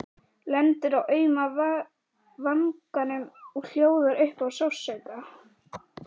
Lendir á auma vanganum og hljóðar upp af sársauka.